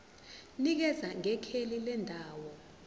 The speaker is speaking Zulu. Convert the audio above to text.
nikeza ngekheli lendawo